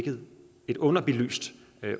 et underbelyst